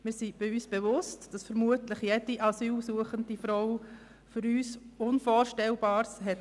Wir sind uns bewusst, dass vermutlich jede asylsuchende Frau Dinge erlebt hat, die für uns unvorstellbar sind.